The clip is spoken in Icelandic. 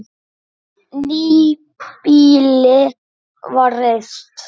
Nýbýli var reist.